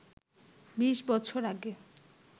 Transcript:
বিশ বছর আগে